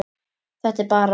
Þetta er bara.